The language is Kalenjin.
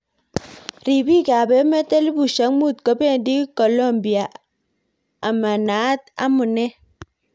Ribik ab emet elibushek mut kobendi Kolumbia ama naat amune.